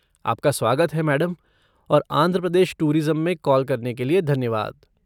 आपका स्वागत है मैडम और आंध्र प्रदेश टूरिज़्म में कॉल करने के लिए धन्यवाद।